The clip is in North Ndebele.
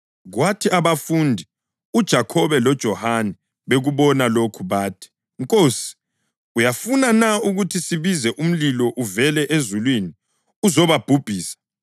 Kwathi abafundi uJakhobe loJohane bekubona lokho bathi, “Nkosi, uyafuna na ukuthi sibize umlilo uvele ezulwini uzobabhubhisa?”